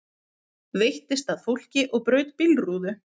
Veittist að fólki og braut bílrúðu